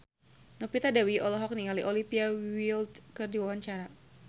Novita Dewi olohok ningali Olivia Wilde keur diwawancara